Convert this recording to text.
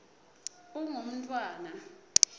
ungumntfwana